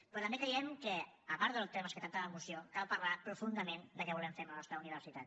però també creiem que a part dels temes que tracta la moció cal parlar profundament del que volem fer amb la nostra universitat